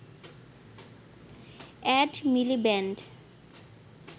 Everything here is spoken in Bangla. Ed Miliband